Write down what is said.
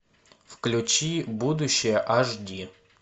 включи будущее аш ди